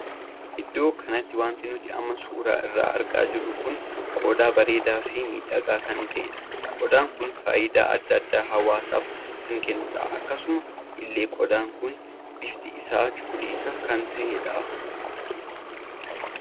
Iddoo kanatti wanti nuti amma suuraa isaa argaa jiru kun qodaa bareedaa fi miidhagaa kan tahedha. qodaan kun faayidaa addaa addaa hawaasaaf kan kennudha. akkasuma illee qodaan kun bifti isaa cuquliisa kan tahedha.